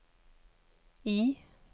I